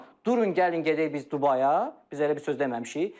Vəfa xanım, durun gəlin gedək biz Dubaya, biz elə bir söz deməmişik.